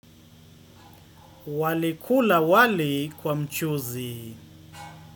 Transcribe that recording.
Walikula wali kwa mchuzi.